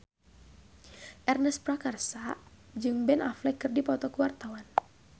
Ernest Prakasa jeung Ben Affleck keur dipoto ku wartawan